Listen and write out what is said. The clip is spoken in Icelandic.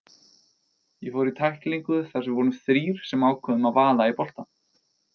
Ég fór í tæklingu þar sem við vorum þrír sem ákváðum að vaða í boltann.